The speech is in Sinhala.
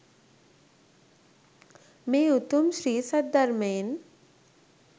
මේ උතුම් ශ්‍රී සද්ධර්මයෙන්